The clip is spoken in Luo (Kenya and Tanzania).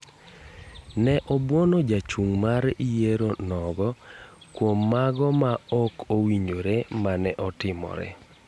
Ne obuono jachung mar yiero nogo kuom mago ma ok owinjore mane otimore.